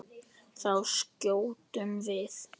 Þá skjótum við.